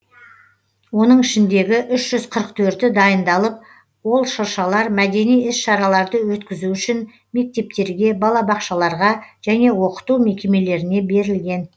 оның ішіндегі үш жүз қырық төрті дайындалып ол шыршалар мәдени іс шараларды өткізу үшін мектептерге балабақшаларға және оқыту мекемелеріне берілген